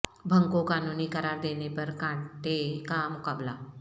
بھنگ کو قانونی قرار دینے پر کانٹے کا مقابلہ